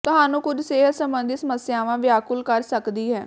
ਤੁਹਾਨੂੰ ਕੁੱਝ ਸਿਹਤ ਸਬੰਧੀ ਸਮੱਸਿਆਵਾਂ ਵਿਆਕੁਲ ਕਰ ਸਕਦੀ ਹੈ